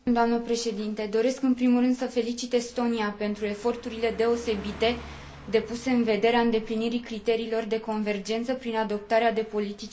Doresc în primul rând să felicit Estonia pentru eforturile deosebite depuse în vederea îndeplinirii criteriilor de convergență prin adoptarea de politici prudente.